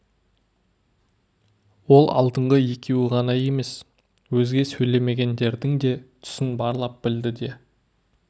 ол алдыңғы екеуі ғана емес өзге сөйлемегендердің де түсін барлап білді де